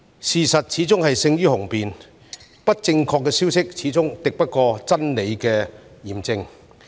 事實始終勝於雄辯，不正確的消息始終敵不過真理的驗證。